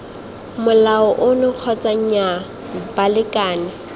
molao ono kgotsa nnyaa balekane